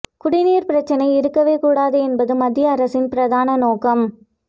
குடிநீர் பிரச்சனை இருக்கவே கூடாது என்பது மத்திய அரசின் பிரதான நோக்கம்